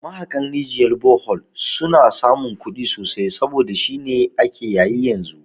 Mahaƙan rijiyar bohol suna samun kudi sosai saboda shine ake yayi yanzu